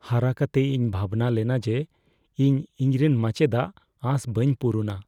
ᱦᱟᱨᱟ ᱠᱟᱛᱮ, ᱤᱧ ᱵᱷᱟᱵᱽᱱᱟᱹ ᱞᱮᱱᱟ ᱡᱮ ᱤᱧ ᱤᱧᱨᱮᱱ ᱢᱟᱪᱮᱫᱟᱜ ᱟᱸᱥ ᱵᱟᱹᱧ ᱯᱩᱨᱩᱱᱟ ᱾